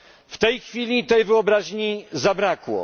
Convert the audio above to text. W tej chwili tej wyobraźni zabrakło.